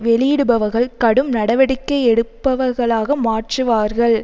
வெளியிடுபவர்கள் கடும் நடவடிக்கை எடுப்பவர்களாக மாற்றுவார்கள்